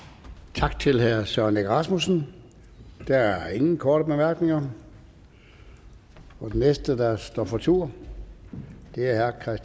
tak til herre søren egge rasmussen der er ingen korte bemærkninger den næste der står for tur er herre